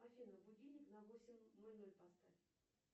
афина будильник на восемь ноль ноль поставь